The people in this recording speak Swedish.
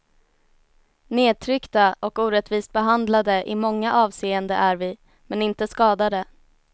Nedtryckta och orättvist behandlade i många avseende är vi, men inte skadade.